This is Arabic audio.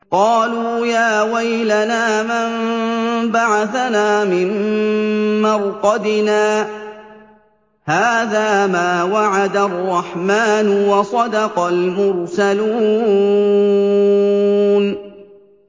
قَالُوا يَا وَيْلَنَا مَن بَعَثَنَا مِن مَّرْقَدِنَا ۜۗ هَٰذَا مَا وَعَدَ الرَّحْمَٰنُ وَصَدَقَ الْمُرْسَلُونَ